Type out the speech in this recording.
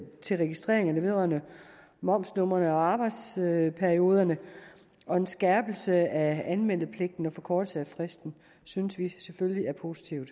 til registrering vedrørende momsnumre og arbejdsperioder og en skærpelse af anmelderpligten og forkortelse af fristen synes vi selvfølgelig er positiv